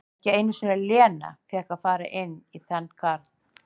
Ekki einu sinni Lena fékk að fara inn í þann garð.